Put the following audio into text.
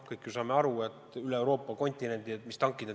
Me kõik ju saame aru, mis tankid siin üle Euroopa kontinendi liiguvad.